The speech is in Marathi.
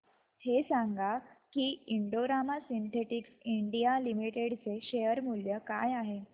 हे सांगा की Indo Rama synthetics India limited चे शेअर मूल्य काय आहे